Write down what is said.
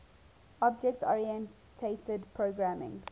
object oriented programming